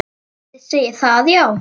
Þið segið það, já.